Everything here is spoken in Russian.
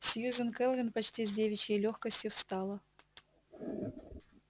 сьюзен кэлвин почти с девичьей лёгкостью встала